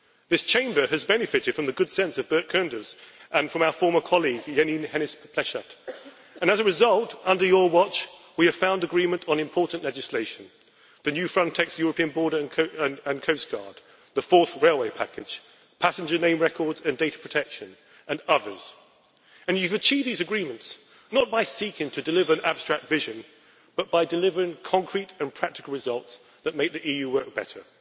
This Chamber has benefited from the good sense of Bert Koenders and the input of our former colleague Jeanine Hennis Plasschaert and, as a result, under your watch we have found agreement on important legislation the new Frontex European Border and Coast Guard, the Fourth Railway Package, passenger name records, data protection and other matters. You have achieved these agreements not by seeking to deliver an abstract vision but by delivering concrete and practical results that make the EU work better.